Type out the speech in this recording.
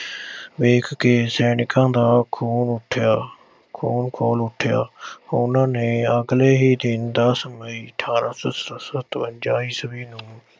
ਵੇਖ ਕੇ ਸੈਨਿਕਾਂ ਦਾ ਖੂਨ ਉੱਠਿਆ, ਖੁੂਨ ਖੌਲ ਉੱਠਿਆ। ਉਨ੍ਹਾਂ ਨੇ ਅਗਲੇ ਹੀ ਦਿਨ ਦਸ ਮਈ ਅਠ੍ਹਾਰਾਂ ਸੌ ਸ ਅਹ ਸਤਵੰਜਾ ਈਸਵੀ ਨੂੰ